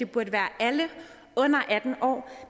burde være alle under atten år